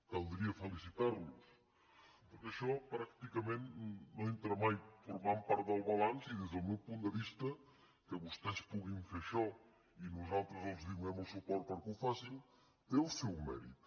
caldria felicitar los perquè això pràcticament no entra mai formant part del balanç i des del meu punt de vista que vostès puguin fer això i nosaltres els donem el suport perquè ho facin té el seu mèrit